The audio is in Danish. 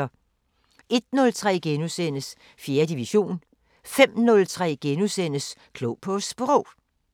01:03: 4. division * 05:03: Klog på Sprog *